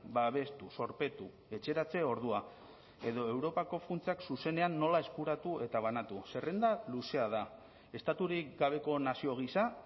babestu zorpetu etxeratze ordua edo europako funtsak zuzenean nola eskuratu eta banatu zerrenda luzea da estaturik gabeko nazio gisa